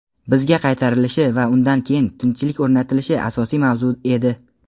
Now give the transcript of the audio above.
bizga qaytirilishi va undan keyin tinchlik o‘rnatilishi asosiy mavzu edi.